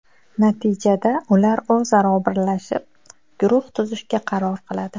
Natijada ular o‘zaro birlashib, guruh tuzishga qaror qiladi.